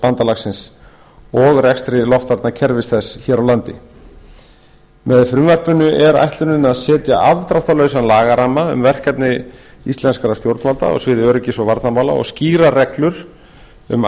atlantshafsbandalagsins og rekstri loftvarnakerfis þess hér á landi með frumvarpinu er ætlunin að setja afdráttarlausan lagaramma um verkefni íslenskra stjórnvalda á sviði öryggis og varnarmála og skýrar reglur um